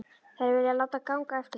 Þær vilja láta ganga eftir sér.